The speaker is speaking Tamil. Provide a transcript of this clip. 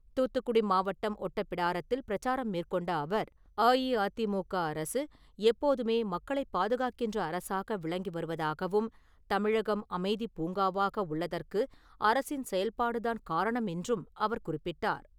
தூத்துக்குடி மாவட்டம் ஓட்டப்பிடாரத்தில் பிரச்சாரம் மேற்கொண்ட அவர், அஇஅதிமுக அரசு எப்போதுமே மக்களை பாதுகாக்கின்றன அரசாக விளங்கி வருவதாகவும், தமிழகம் அமைதிப் பூங்காவாக உள்ளதற்கு அரசின் செயல்பாடுதான் காரணம் என்று அவர் குறிப்பிட்டார்.